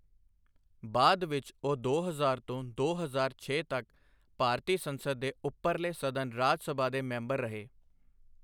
ਬਾਅਦ ਵਿੱਚ ਉਹ ਦੋ ਹਜ਼ਾਰ ਤੋਂ ਦੋ ਹਜ਼ਾਰ ਛੇ ਤੱਕ ਭਾਰਤੀ ਸੰਸਦ ਦੇ ਉਪਰਲੇ ਸਦਨ ਰਾਜ ਸਭਾ ਦੇ ਮੈਂਬਰ ਰਹੇ।